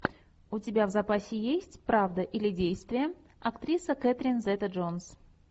у тебя в запасе есть правда или действие актриса кэтрин зета джонс